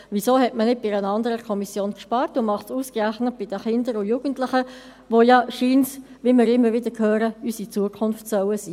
Weshalb hat man nicht bei einer anderen Kommission gespart, und tut dies ausgerechnet bei den Kindern und Jugendlichen, die ja anscheinend, wie wir immer wieder hören, unsere Zukunft sein sollen?